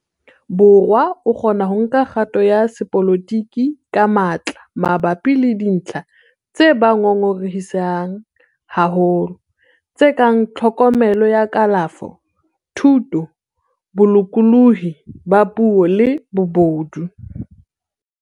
Borwa a kgona ho nka kgato ya sepolotiki ka matla mabapi le dintlha tse ba ngongorehisang haholo, tse kang tlhokomelo ya kalafo, thuto, bolokolohi ba puo le bobodu.